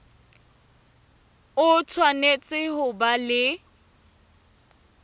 o tshwanetse ho ba le